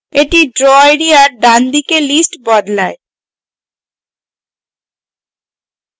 এটি draw এরিয়ার ডানদিকে list বদলায়